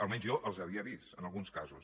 almenys jo els havia vist en alguns casos